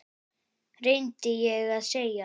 reyni ég að segja.